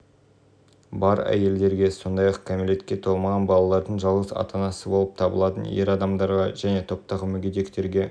бар әйелдерге сондай-ақ кәмелетке толмаған балалардың жалғыз ата-анасы болып табылатын ер адамдарға және топтағы мүгедектерге